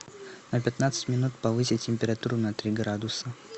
на пятнадцать минут повысить температуру на три градуса